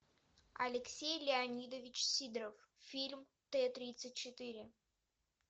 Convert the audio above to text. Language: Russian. алексей леонидович сидоров фильм т тридцать четыре